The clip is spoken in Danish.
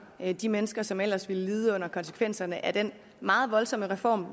de mennesker som ellers ville lide under konsekvenserne af den meget voldsomme reform